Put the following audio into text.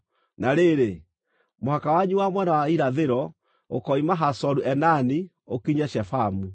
“ ‘Na rĩrĩ, mũhaka wanyu wa mwena wa irathĩro, ũkoima Hazoru-Enani ũkinye Shefamu.